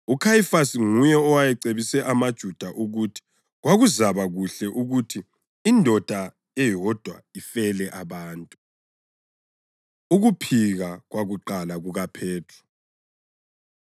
UKhayifasi nguye owayecebise amaJuda ukuthi kwakuzaba kuhle ukuthi indoda eyodwa ifele abantu. Ukuphika Kwakuqala KukaPhethro